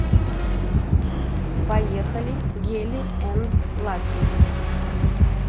поехали гели энд лаки